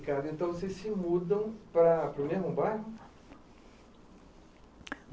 E, Ricardo, então vocês se mudam para o mesmo bairro?